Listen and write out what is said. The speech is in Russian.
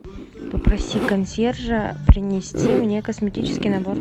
попроси консьержа принести мне косметический набор